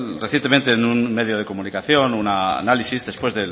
recientemente en un medio de comunicación un análisis después